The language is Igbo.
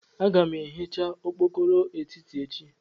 Aga m ehicha okpokoro etiti echi.